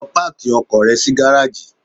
Lọ páàkì ọkọ̀ rẹ sí gáráàjì!